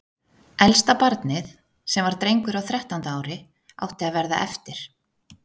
Elsta barnið, sem var drengur á þrettánda ári, átti að verða eftir.